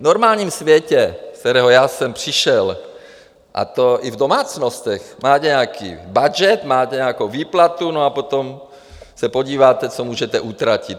V normálním světě, z kterého já jsem přišel, a to i v domácnostech, má nějaký budget, máte nějakou výplatu, no a potom se podíváte, co můžete utratit.